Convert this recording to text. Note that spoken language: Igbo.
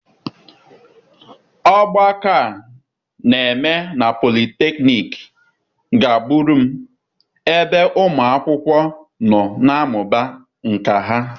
Ogbako a na-eme na polytechnic gbagburu m, ebe ụmụ akwụkwọ nọ na-amụba nkà ha.